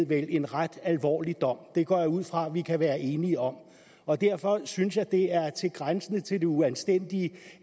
vel en ret alvorlig dom det går jeg ud fra at vi kan være enige om og derfor synes jeg det er grænsende til det uanstændige